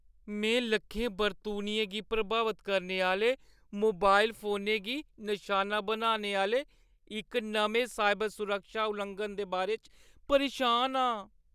में लक्खें बरतूनियें गी प्रभावत करने आह्‌ले मोबाइल फोनें गी नसाना बनाने आह्‌ले इक नमें साइबर सुरक्षा लुआंघन दे बारे च परेशान आं।